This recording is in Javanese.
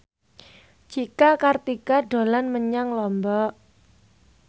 Cika Kartika dolan menyang Lombok